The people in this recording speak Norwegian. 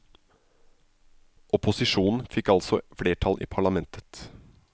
Opposisjonen fikk altså flertall i parlamentet.